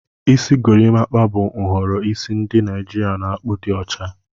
Isi gorimakpa bụ nhọrọ isi ndị Naijiria na-akpụ di ocha.